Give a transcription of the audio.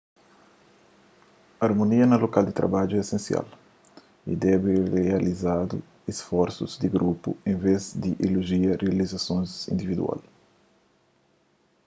armonia na lokal di trabadju é isensial y debe rialsadu isforsu di grupu en vez di ilojia rializasons individual